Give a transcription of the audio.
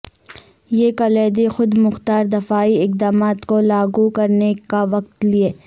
یہ کلیدی خود مختار دفاعی اقدامات کو لاگو کرنے کا وقت لیں